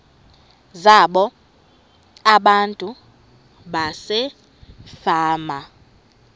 zabo abantu basefama